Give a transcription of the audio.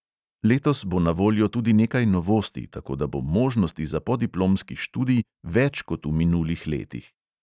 Letos bo na voljo tudi nekaj novosti, tako da bo možnosti za podiplomski študij več kot v minulih letih.